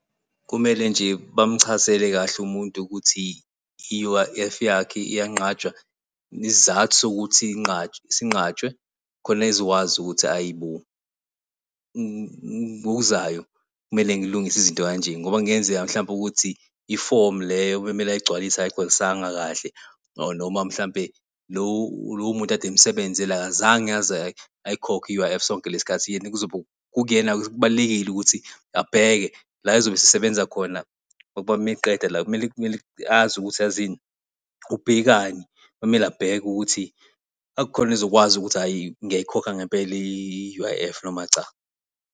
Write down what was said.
Kumele nje bamchazele kahle umuntu ukuthi i-U_I_F yakhe iyanqatshwa isizathu sokuthi inqatshwe sinqatshwe khona ezokwazi ukuthi hhayi bo ngokuzayo kumele ngilungise izinto kanje ngoba kungenzeka mhlawumpe ukuthi ifomu leyo bekumele eyigcwalise akayicgwalisanga kahle or noma mhlampe lowo muntu kade emsebenzela akazange aze ayikhokhe i-U_I_F sonke lesikhathi. Yena kuzobe kukuyena-ke, kubalulekile ukuthi abheke la ezobe esesebenza khona ngoba meqeda la kumele kumele azi ukuthi yazini ubhekani, kumele abheke ukuthi akhone ezokwazi ukuthi hhayi ngiyayikhokha ngempela i-U_I_F noma cha.